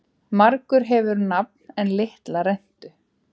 Margur hefur nafn en litla rentu.